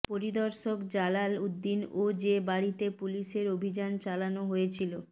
পরিদর্শক জালাল উদ্দিন ও যে বাড়িতে পুলিশের অভিযান চালানো হয়েছিল